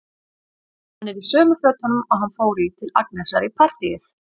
Hann er í sömu fötunum og hann fór í til Agnesar í partíið.